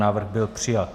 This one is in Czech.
Návrh byl přijat.